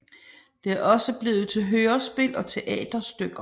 Det er også blevet til hørespil og teaterstykker